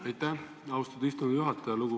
Aitäh, austatud istungi juhataja!